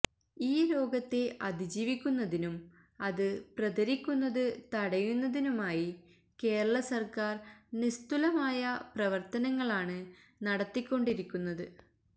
ഈ രോഗത്തെ അതിജീവിക്കുന്നതിനും അത് പ്രതരിക്കുന്നത് തടയുന്നതിനുമായി കേരള സർക്കാര് നിസ്തുലമായ പ്രവർത്തനങ്ങളാണ് നടത്തിക്കൊണ്ടിരിക്കുന്നത്